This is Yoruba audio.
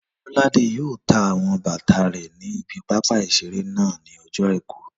Lọ́ládé yóò ta àwọn bàtà rẹ̀ ní ibi pápá ìseré náà ní ọjọ́ àìkú